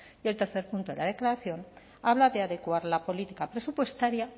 el tercer punto de la declaración habla de adecuar la política presupuestaria